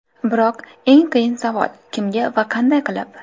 Biroq eng qiyin savol: kimga va qanday qilib?